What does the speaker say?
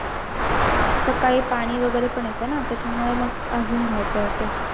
सकाळी पाणी वगैरे पण येत ना त्याचा मुळे मग अजून धावपळ होते.